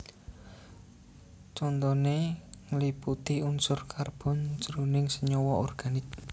Contoné ngliputi unsur karbon jroning senyawa organik